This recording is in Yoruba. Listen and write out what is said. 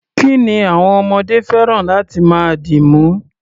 Kí ni àwọm ọmọdé fẹ́ràn láti máa dìmú?